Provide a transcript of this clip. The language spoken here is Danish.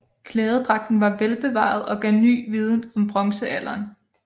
Klædedragten var velbevaret og gav ny viden om bronzealderen